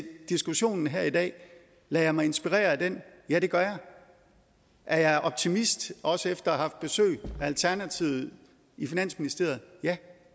diskussionen her i dag lader jeg mig inspirere af den ja det gør jeg er jeg optimist også efter haft besøg af alternativet i finansministeriet ja